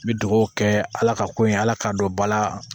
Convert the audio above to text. N bi dugawu kɛ ala ka ko ye ala k'a don ba la